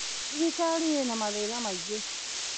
Thirikarĩ ĩna mathĩna maingĩ